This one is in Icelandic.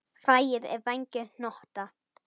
Fræið er vængjuð hnota.